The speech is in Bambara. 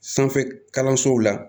Sanfɛ kalansow la